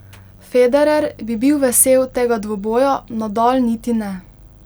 Federer bi bil vesel tega dvoboja, Nadal niti ne ...